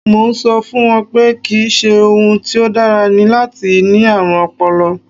Mo ń sọ fún un pé kì í ṣe ohun tí ó dára ni láti ní ààrùn ọpọlọ